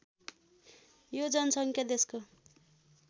यो जनसङ्ख्या देशको